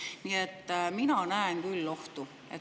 Nii et mina näen küll ohtu.